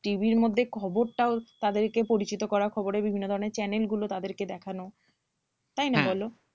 TV ইর মধ্যে খবরটাও তাদেরকে পরিচিত করা খবরের বিভিন্ন ধরনের channel গুলো তাদেরকে দেখানো তাই না বলো?